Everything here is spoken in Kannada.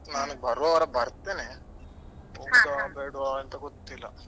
ನಾಡಿದ್ದು ಬರೋವಾರ ಬರ್ತೇನೆ ಹೋಗುದ ಬೇಡ್ವಾ ಅಂತ ಗೊತ್ತಿಲ್ಲ.